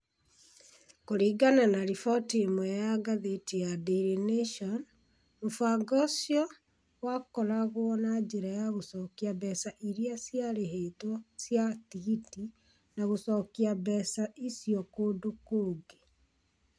Kũringana na riboti ĩmwe ya ngathĩti ya Daily Nation, mũbango ũcio wakoragwo na njĩra ya gũcokia mbeca iria ciarĩhĩtwo cia tigiti na gũcokia mbeca icio kũndũ kũngĩ.